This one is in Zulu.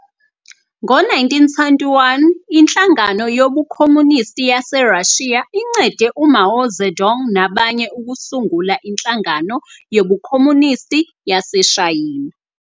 Ngo-1921 iNhlangano yobuKhomunisti yaseRashiya incede uMao Zedong nabanye ukusungula iNhlangano yobuKhomunisti yaseShayina.